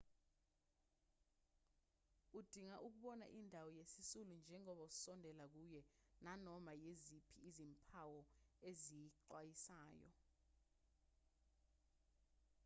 udinga ukubona indawo yesisulu njengoba usondela kuye nanoma yiziphi izimpawu eziyisixwayiso